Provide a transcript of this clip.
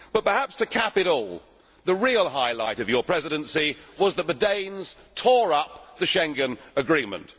But perhaps to cap it all, the real highlight of your presidency was that the Danes tore up the Schengen Agreement.